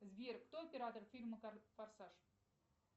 сбер кто оператор фильма форсаж